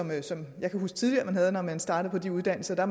man som jeg kan huske tidligere når man startede på de uddannelser